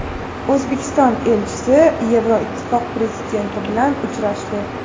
O‘zbekiston elchisi Yevroittifoq prezidenti bilan uchrashdi.